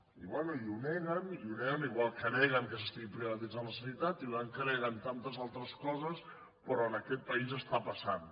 i bé i ho neguen i ho neguen igual que neguen que s’estigui privatitzant la sanitat igual que neguen tantes altres coses però en aquest país està passant